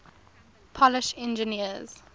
polish engineers